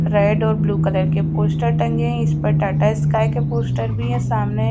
red और blue colour के poster टांगे हैं इस पर टाटा स्काई के पोस्टर भी है सामने--